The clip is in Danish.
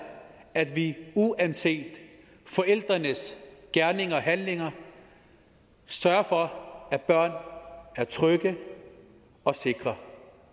at vi uanset forældrenes gerninger og handlinger sørger for at børn er trygge og sikre